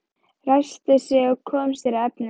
Ræskti sig og kom sér að efninu.